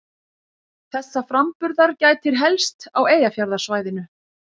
Þessa framburðar gætir helst á Eyjafjarðarsvæðinu.